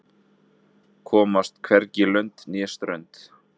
Komast hvorki lönd né strönd